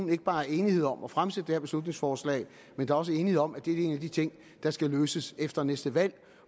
ikke bare er enighed om at fremsætte det her beslutningsforslag men også enighed om at det er en af de ting der skal løses efter næste valg